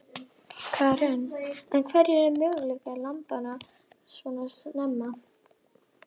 Karen: En hverjir eru möguleikar lambanna svona snemma?